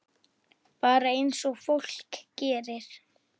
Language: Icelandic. Bara eins og fólk gerir.